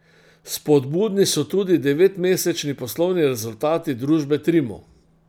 Spodbudni so tudi devetmesečni poslovni rezultati družbe Trimo.